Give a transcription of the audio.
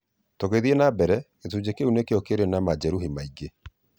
"Tũgithiĩ na mbere, gĩcunjĩ kĩu nĩkĩo kĩrĩ na majeruhi maingĩ.